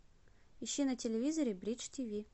ищи на телевизоре бридж тиви